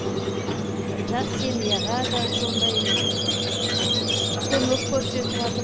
жас семьяға да сондай көмек көрсетіватыр